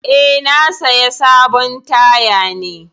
Eh, na saya sabon taya ne.